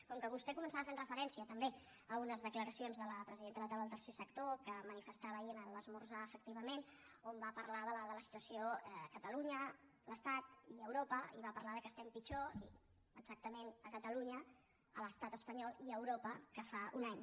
com que vostè començava fent referència també a unes declaracions de la presidenta de la taula del tercer sector que manifestava ahir en l’esmorzar efectivament on va parlar de la situació a catalunya l’estat i europa i va parlar que estem pitjor exactament a catalunya a l’estat espanyol i a europa que fa un any